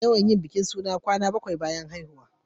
Ana yawan yin bikin suna rana bakwai bayan haihuwa.